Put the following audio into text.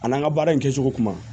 A n'an ka baara in kɛcogo kuma